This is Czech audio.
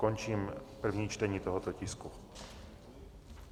Končím první čtení tohoto tisku.